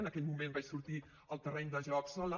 en aquell moment vaig sortit al terreny de joc sola